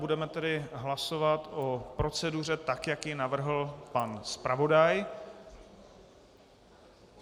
Budeme tedy hlasovat o proceduře tak, jak ji navrhl pan zpravodaj.